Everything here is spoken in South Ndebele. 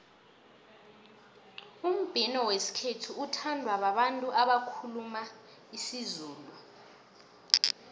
umbhino wesikhethu uthandwa babantu abakhuluma isizulu